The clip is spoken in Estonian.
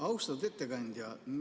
Austatud ettekandja!